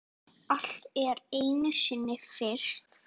Allt er einu sinni fyrst.